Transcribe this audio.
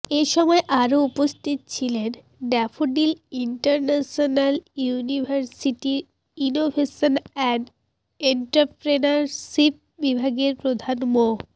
এসময় আরও উপস্থিত ছিলেন ড্যাফোডিল ইন্টারন্যাশনাল ইউনিভার্সিটির ইনোভেশন অ্যান্ড এন্ট্রাপ্রেনারশিপ বিভাগের প্রধান মো